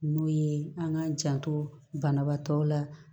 N'o ye an k'an janto banabaatɔ la